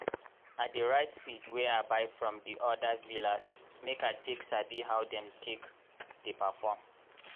i dey write seed wey i buy from di odir villas make i take sabi how dem take dey perform.